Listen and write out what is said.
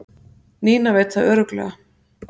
Nína veit það örugglega